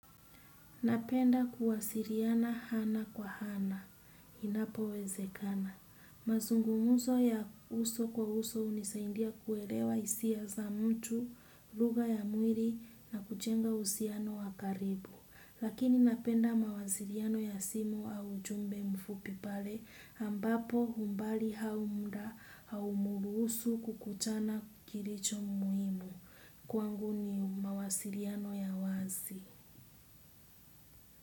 Napenda kuwasiliana ana kwa ana. Inapowezekana. Mazungumzo ya uso kwa uso hunisaidia kuelewa hisia za mtu, lugha ya mwili na kujenga uhusiano wa karibu. Lakini napenda mawasiliano ya simu au ujumbe mfupi pale ambapo umbali au muda haumruhusu kukutana kilicho muhimu. Kwangu ni mawasiliano ya wazi.